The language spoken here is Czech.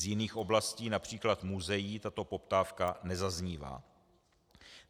Z jiných oblastí, například muzeí, tato poptávka nezaznívá.